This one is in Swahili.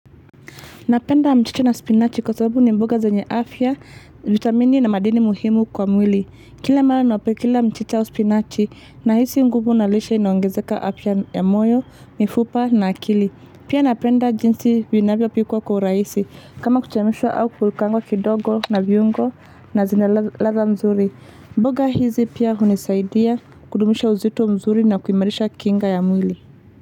Napenda mchicha na spinachi kwa sababu ni mboga zenye afya, vitamini na madini muhimu kwa mwili. Kila mara ninapokula mchicha wa spinachi na hisi nguvu nalishe inaongezeka apia ya moyo, mifupa na akili. Pia napenda jinsi vinavyo pikwa kwa uraisi kama kuchemshwa au kukurkango kidogo na viungo na zinaladha nzuri. Mboga hizi pia hunisaidia kudumisha uzito mzuri na kuimarisha kinga ya mwili.